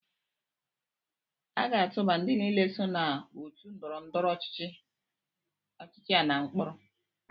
A ga-atụba ndị niile so na otu ndọrọndọrọ ọchịchị a na mkpọrọ